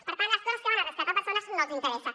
per tant les coses que van a rescatar persones no els interessen